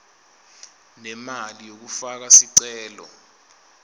nemali yekufaka sicelo